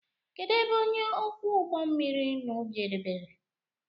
Kedụ ebe ọnye ókwú ụgbọ mmiri ụnụ jebere?